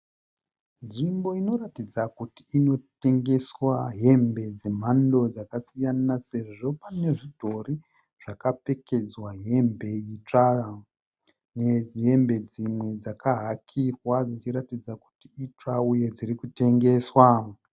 Nzvimbo inoratidza kuti inotengeswa hembe dzemhando dzakasiyana sezvo pane zvidhori zvakapfekedzwa hembe itsva nehembe dzimwe dzakahakirwa dzichiratidza kuti itsva uye dzinotengeswa.